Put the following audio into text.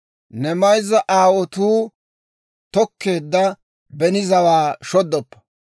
Ne mayzza aawotuu tokkeedda beni zawaa shoddoppa.